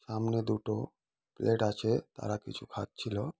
সামনে দুটো প্লেট আছে তারা কিছু খাচ্ছিল।